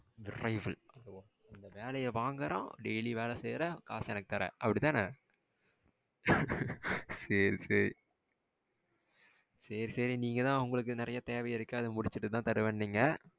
விரைவில். இந்த வேலையைய் வாங்குறோம் டெய்லி வேலை செய்யிற காசு எனக்கு தர அப்படிதானே. சரி சரி சரி சரி நீங்கதா உங்களுக்கு நறைய தேவை இருக்கு அத முடிச்சுட்டு தானே தருவனிங்க.